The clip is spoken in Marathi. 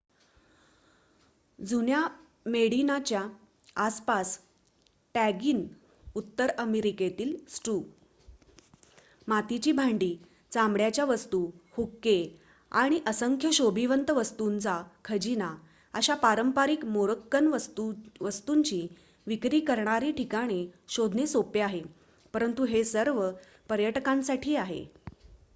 जुन्या मेडिनाच्या आसपास टॅगिन उत्तर अमेरिकेतील स्टू मातीची भांडी चामड्याच्या वस्तू हुक्के आणि असंख्य शोभिवंत वस्तुंचा खजिना अशा पारंपरिक मोरक्कन वस्तुंची विक्री करणारी ठिकाणे शोधणे सोपे आहे परंतु हे सर्व फक्त पर्यटकांसाठी आहे